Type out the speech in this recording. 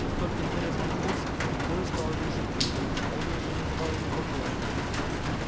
как только дверь распахнулась вой стал оглушительным он уже не давал ему покоя